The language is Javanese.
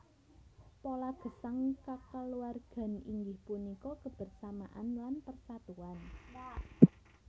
Pola gesang kekaluwargan inggih punika kebersamaan lan persatuan